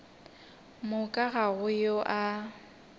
moka ga go yo a